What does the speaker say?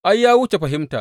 Ai, ya wuce fahimta.